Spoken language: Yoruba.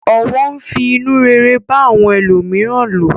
Ọ̀wọ̀ ń fi inú rere bá àwọn ẹlòmíràn lò.